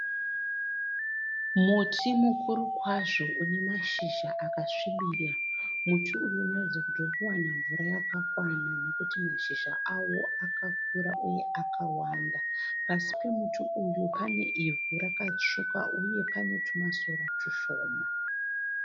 Muti mukuru kwazvo une mashizha akasvibira. Muti uyu unoratidza kuti uri kuwana mvura yakakwana nokuti mashizha awo akakura uye akawanda. Pasi pemuti uyu pane ivhu rakatsvuka huye pane twumasora twushoma.